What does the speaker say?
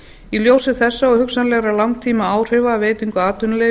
í ljósi þessa og hugsanlegra langtímaáhrifa um veitingu atvinnuleyfa